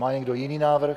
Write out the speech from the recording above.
Má někdo jiný návrh?